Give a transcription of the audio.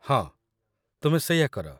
ହଁ, ତୁମେ ସେଇଆ କର ।